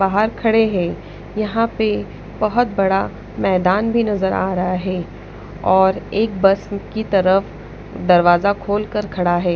बाहर खड़े हैं यहां पे बहोत बड़ा मैदान भी नजर आ रहा है और एक बस की तरफ दरवाजा खोल कर खड़ा हैं।